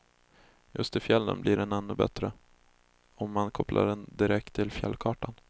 Just i fjällen blir den ännu bättre om man kopplar den direkt till fjällkartan.